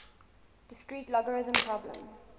discrete logarithm problem